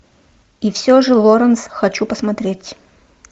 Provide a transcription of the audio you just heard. и все же лоранс хочу посмотреть